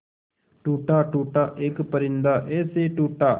टूटा टूटा एक परिंदा ऐसे टूटा